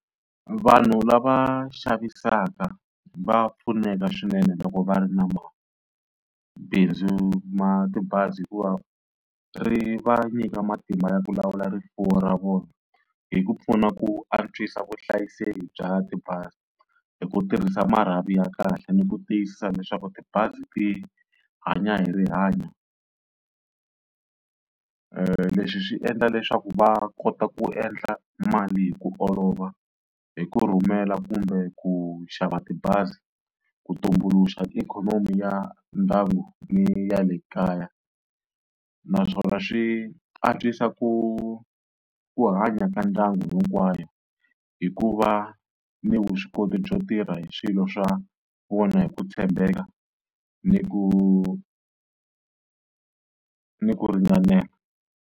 Vanhu lava xavisaka va pfuneka swinene loko va ri na mabindzu ma tibazi hikuva ri va nyika matimba ya ku lawula rifuwo ra vona, hi ku pfuna ku antswisa vuhlayiseki bya tibazi hi ku tirhisa marhavi ya kahle ni ku tiyisisa leswaku tibazi ti hanya hi rihanyo. leswi swi endla leswaku va kota ku endla mali hi ku olova hi ku rhumela kumbe ku xava tibazi, ku tumbuluxa ti ikhonomi ya ndyangu ni ya le kaya. naswona swi antswisa ku, ku hanya ka ndyangu hinkwawo hikuva ni vuswikoti byo tirha hi swilo swa vona hi ku tshembeka ni ku ni ku ringanela.